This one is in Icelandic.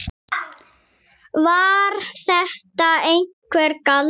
Var þetta einhver galdur?